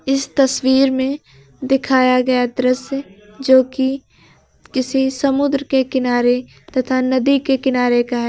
इस तस्वीर में दिखाया गया दृश्य जोकि किसी समुद्र के किनारे तथा नदी के किनारे का है।